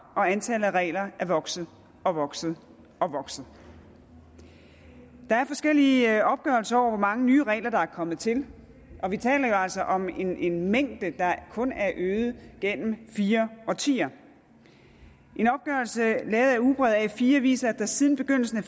og antallet af regler er vokset og vokset og vokset der er forskellige opgørelser over hvor mange nye regler der er kommet til og vi taler jo altså om en en mængde der kun er øget gennem fire årtier en opgørelse lavet af ugebrevet a4 viser at der siden begyndelsen af